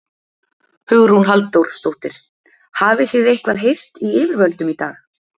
Hugrún Halldórsdóttir: Hafið þið eitthvað heyrt í yfirvöldum í dag?